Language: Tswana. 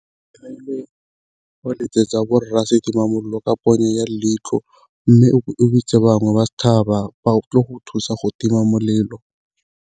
Go letsetsa borra setimamolelo ka ponyo ya leitlho, mme o bitse bangwe ba ba tle go thusa go tima molelo.